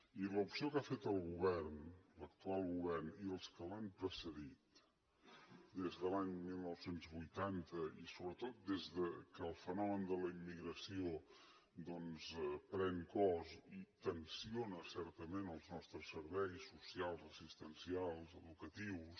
i l’opció que ha fet el govern l’actual govern i els que l’han precedit des de l’any dinou vuitanta i sobretot des que el fenomen de la immigració doncs pren cos i tensa certament els nostres serveis socials assistencials educatius